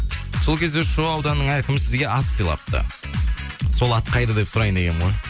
сол кезде шу ауданының әкімі сізге ат сыйлапты сол ат қайда деп сұрайын дегенім ғой